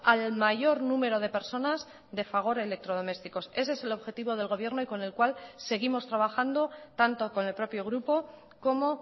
al mayor número de personas de fagor electrodomésticos ese es el objetivo del gobierno y con el cual seguimos trabajando tanto con el propio grupo como